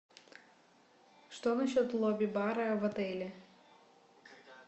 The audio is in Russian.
что насчет лобби бара в отеле